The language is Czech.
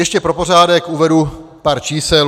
Ještě pro pořádek uvedu pár čísel.